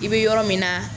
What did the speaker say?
I bɛ yɔrɔ min na